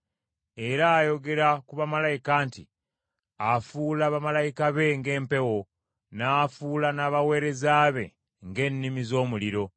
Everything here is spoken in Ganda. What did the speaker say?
Era ayogera ku bamalayika nti, “Afuula bamalayika be ng’empewo, n’afuula n’abaweereza be ng’ennimi z’omuliro.”